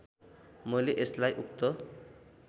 मैले यसलाई उक्त